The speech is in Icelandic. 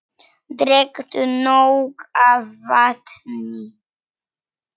Drekktu nóg af vatni.